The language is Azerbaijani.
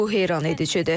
Bu heyranedicidir.